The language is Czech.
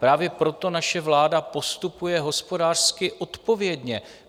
Právě proto naše vláda postupuje hospodářsky odpovědně.